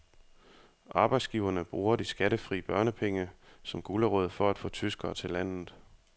Arbejdsgiverne bruger de skattefri børnepenge som gulerod for at få tyskere til landet.